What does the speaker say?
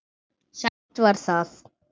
Sætt var það.